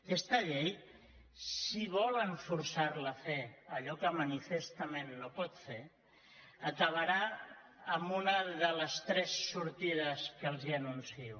aquesta llei si volen forçar la a fer allò que manifestament no pot fer acabarà amb una de les tres sortides que els anuncio